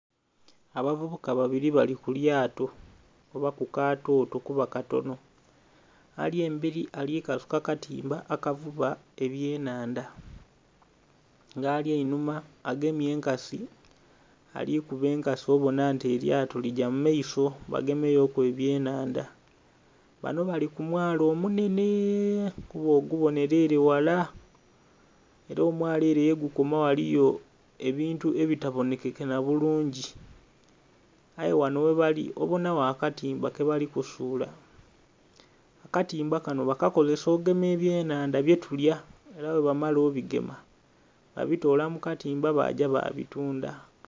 Abavubuka babili bali ku lyato oba ku kaatooto kuba katono. Ali embeli ali kasuka katimba akavuba ebyenhanda. Nga ali einhuma agemye enkasi, ali kuba enkasi obona nti elyato ligya mu maiso bagemeyo ku ebyenhanda. Bano bali ku mwalo omunhenhe kuba ogubonhera ele ghala. Ela omwalo ele yegukoma eliyo ebintu ebitabonhekeka nabulungi. Aye ghano ghebali obonagho akatimba kebali kusuula. Akatimba kanho bakakozesa okugema ebyenhanda byetulya. Ela bwebamala obigema, babitoola mu katimba ba gya babitunda.